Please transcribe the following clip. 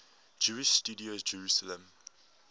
jewish studies jerusalem